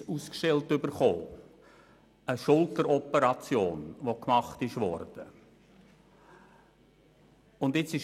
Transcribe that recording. Ihm wurde wegen einer Schulteroperation ein Arztzeugnis ausgestellt.